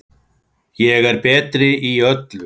Ég er betri í öllu.